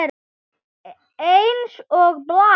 Eins og blær.